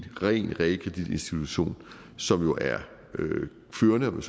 realkreditinstitution som jo er førende